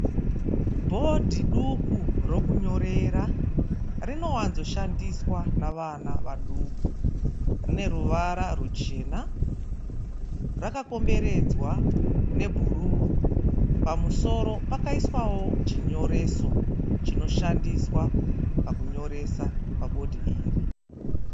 Bhodhi duku rokunyorera. Rinowanzoshandiswa nevana vaduku. Rine ruvara ruchena rakakomberedzwa rwebhuruu. Pamusoro pakaiswawo chinyoreso chinoshandiswa pakunyoresa pabhodhi iri.